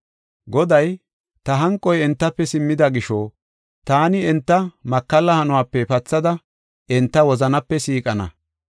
Goday, “Ta hanqoy entafe simmida gisho, taani enta makalla hanuwape enta pathada, enta wozanape siiqana.